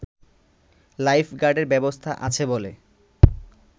life গার্ডের ব্যবস্থা আছে বলে